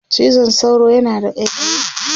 cizon sauro yana da ƙaiƙayi